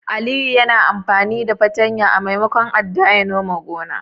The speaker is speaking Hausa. Aliyu yana amfani fartanya a maimakon adda ya nome gonar.